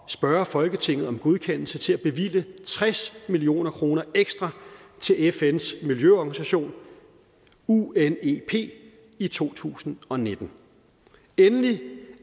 spørge folketinget om godkendelse til at bevilge tres million kroner ekstra til fns miljøorganisation unep i to tusind og nitten endelig